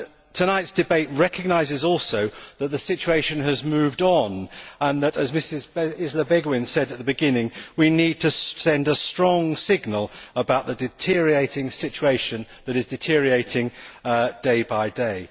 Tonight's debate recognises also that the situation has moved on and, as Mrs Isler Béguin said at the beginning, that we need to send a strong signal about the deteriorating situation that is worsening day by day.